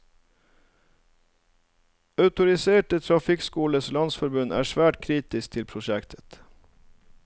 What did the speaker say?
Autoriserte trafikkskolers landsforbund er svært kritisk til prosjektet.